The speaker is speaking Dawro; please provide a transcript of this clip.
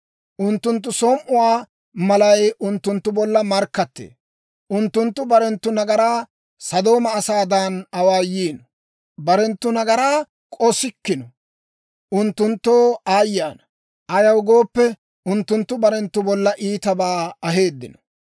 Unttunttu som"uwaa malay unttunttu bolla markkattee; unttunttu barenttu nagaraa Sodooma asaadan awaayiino; barenttu nagaraa k'ossikkino. Unttunttoo aayye ana! Ayaw gooppe, unttunttu barenttu bolla iitabaa aheeddino.